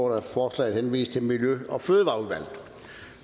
at forslaget henvises til miljø og fødevareudvalget